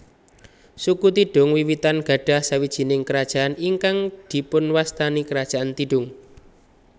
Suku Tidung wiwitan gadhah sawijining kerajaan ingkang dipunwastani Kerajaan Tidung